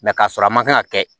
k'a sɔrɔ a man kan ka kɛ